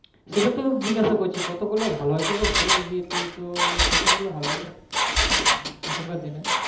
সেটা তো জিগাসা করছি কত করলে ভালো হয় বল তুই কত করলে ভালো হয় এখানকার দিনে